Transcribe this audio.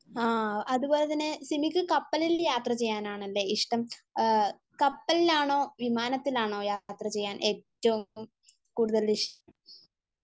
ആഹ് അതുപോലെതന്നെ സിമിക്ക് കപ്പലിൽ യാത്രചെയ്യാനാണല്ലേ ഇഷ്ടം. കപ്പലിലാണോ വിമാനത്തിലാണോ യാത്ര ചെയ്യാൻ ഏറ്റവും കൂടുതൽ ഇഷ്...